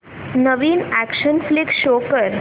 नवीन action flick show कर